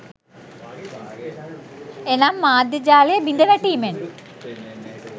එනම් මධ්‍යම ජාලය බිඳවැටීමෙන්